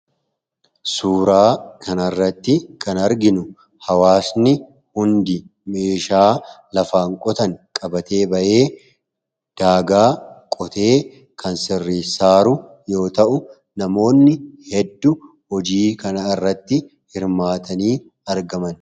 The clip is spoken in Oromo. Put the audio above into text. suuraa kanaairratti kan arginu hawaasni hundi meeshaa lafaan qotan qabatee ba'ee daagaa qotee kan sirrisaaru yoo ta'u namoonni hedduu hojii kan irratti hirmaatanii argaman